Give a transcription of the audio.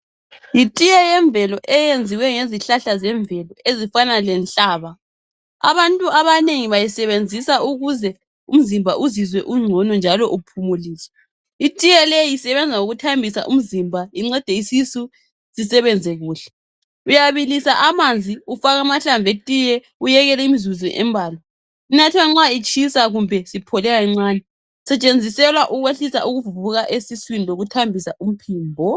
Yitiye yemvelo eyenziwe ngezihlahla zemvelo ezifana lehlaba abantu abanengi bayisebenzisa ukuze umzimba uzizwe ugcono njalo uphumulile itiye leyi isebenza ngokuthambisa umzimba incede isisu sisebenze kuhle uyabilisa amanzi ufake amahlamvu etiye uyekele imizuzo embala inathwa nxa itshisa kumbe isiphole kancane isetshenziselwa ukwehlisa ukuvuvuka esiswini lokuthambisa umphimbo.